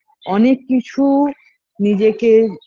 অনেক কিছু নিজেকে